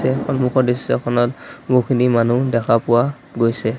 এই সন্মুখৰ দৃশ্যখনত বহুখিনি মানুহ দেখা পোৱা গৈছে।